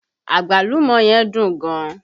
Agbalumo yẹn dùn gan